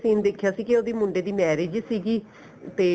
scene ਦੇਖਿਆ ਸੀ ਕੀ ਉਹਦੀ ਮੁੰਡੇ ਦੀ marriage ਸੀਗੀ ਤੇ